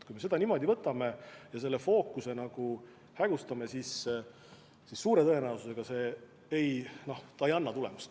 Kui me seda niimoodi võtame ja fookuse hägustame, siis suure tõenäosusega see kahjuks ei anna tulemust.